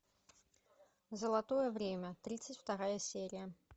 золотое время тридцать вторая серия